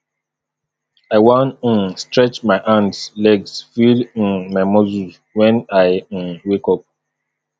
i wan um stretch my hands legs feel um my muscles wen i um wake up